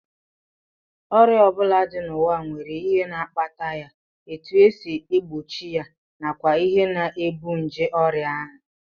Ọrịa ọ bụla dị n'ụwa nwere ihe na-akpata ya, etu e si egbochi ya nakwa ihe na-ebu nje ọrịa ahụ